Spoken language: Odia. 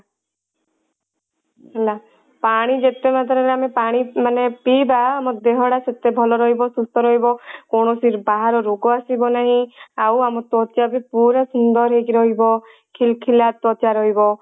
ହେଲା ପାଣି ଯେତେ ମାତ୍ରା ରେ ଆମେ ପାଣି ମାନେ ପିଇବା ଆମ ଦେହ ଟା ସେତେ ଭଲ ରହିବ ସୁସ୍ଥ ରହିବ କୌଣସି ବାହାର ରୋଗ ଆସିବ ନାହିଁ ଆଉ ଆମ ତ୍ଵଚା ବି ପୁରା ସୁନ୍ଦର ହେଇକି ରହିବ ଖିଲ ଖିଲା ତ୍ଵଚା ରହିବ।